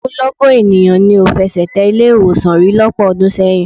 Ogunlọ́gọ̀ ènìyàn ni ò fẹsẹ̀ tẹ ilé-ìwọ̀sàn rí lọ́pọ̀ ọdún sẹ́yìn.